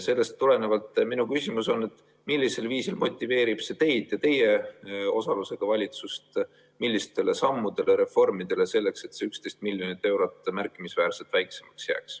Sellest tulenevalt on minu küsimus, millisel viisil motiveerib see teid ja teie osalusega valitsust ja millistele sammudele-reformidele, selleks et see 11 miljonit eurot märkimisväärselt väiksemaks jääks.